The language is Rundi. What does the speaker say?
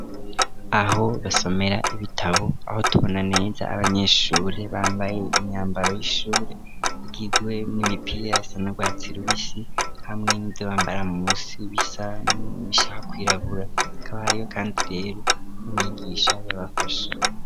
Aho basomera ibitabo, aho tubona neza abanyeshure bambaye imyambaro y'ishure igizwe n'imipira isa n'urwatsi rubisi, hamwe n'ivyo bambara musi bisa nibishaka kwirabura, hakaba ariho kandi rero n'imyigisha yabafasha.